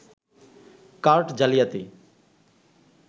card জালিয়াতি